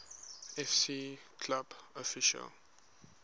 fc club official